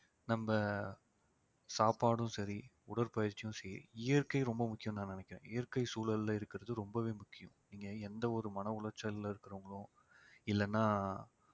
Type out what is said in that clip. நம்ப சாப்பாடும் சரி உடற்பயிற்சியும் சரி இயற்கை ரொம்ப முக்கியம்னு நான் நினைக்கிறேன் இயற்கை சூழல்ல இருக்கிறது ரொம்பவே முக்கியம் நீங்க எந்த ஒரு மன உளைச்சல்ல இருக்குறவங்களும் இல்லைன்னா